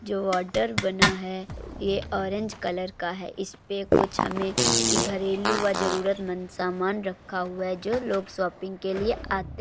जो आर्डर बना है। ये ऑरेंज कलर का है। इसपे कुछ हमें ई घरेलु व जरूरतमंद सामान रखा हुआ है जो लोग शॉपिंग के लिए आते --